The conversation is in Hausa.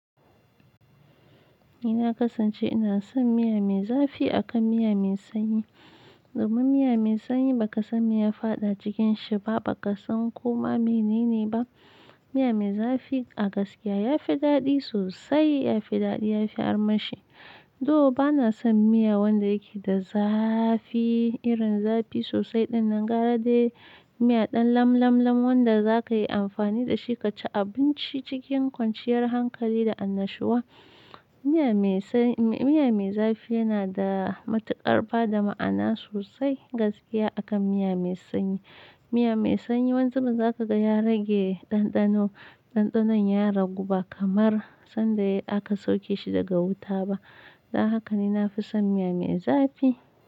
Ni na kasance ina son miya mai zafi akan miya mai sanyi. Domin miya mai sanyi baka san me ya faɗa cikin shi ba, baka san komai mene ne ba. Miya mai zafi a gaskiya ya fi daɗi sosai, ya fi daɗi, ya fi armashi. Dou bana son miya wanda yake da zafi irin zafi sosai din nan gara dai miya dan lam lam lam wanda za ka yi amfani da shi ka ci abinci cikin kwanciyar hankali da annashuwa. Miya mai zafi yana da matukar bada ma'ana sosai gaskiya akan miya mai sanyi. Miya mai sanyi wani zubin za ka gan ya rage ɗanɗano, ɗanɗanon ya ragu ba kamar sanda aka sauke shi daga wuta ba. Don haka ni na fi son miya mai zafi.